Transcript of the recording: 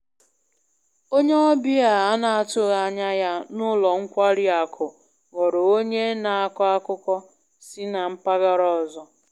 Onye ọbịa a na-atụghị anya ya n`ụlọ nkwari akụ ghọrọ onye na-akọ akụkọ si na mpaghara ọzọ